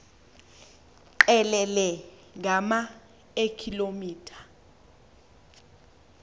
qelele ngama eekilometha